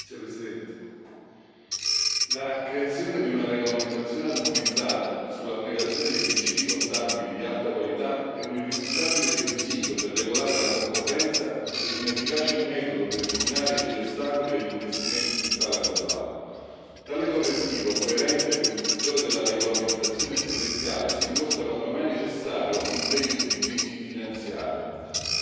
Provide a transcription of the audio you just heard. Signora Presidente, onorevoli colleghi, la creazione di una regolamentazione armonizzata sull'applicazione dei principi contabili di alta qualità è un irrinunciabile requisito per regolare la concorrenza e un efficace metodo per eliminare gli ostacoli agli investimenti su scala globale. Tale correttivo, coerente con il settore della regolamentazione prudenziale, si dimostra quanto mai necessario in un periodo di crisi finanziaria.